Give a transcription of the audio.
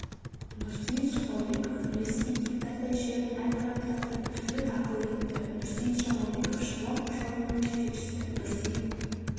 нұрсейіт жамалбеков үлеске гектардай жерін әртараптандырып түрлі дақыл егіпті нұрсейіт жамалбеков шаруа қожалығының жетекшісі нұрсейіт